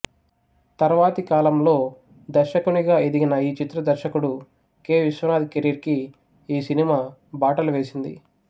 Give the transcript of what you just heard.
తర్వాతి కాలంలో దర్శకునిగా ఎదిగిన ఈ చిత్రదర్శకుడు కె విశ్వనాథ్ కెరీర్ కి ఈ సినిమా బాటలువేసింది